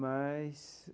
Mas